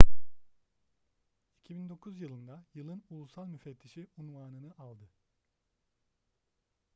2009 yılında yılın ulusal müfettişi unvanını aldı